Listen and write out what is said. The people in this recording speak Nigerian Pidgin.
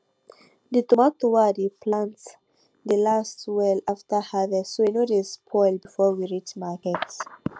the tomato wey i dey plant dey last well after harvest so e no dey spoil before we reach market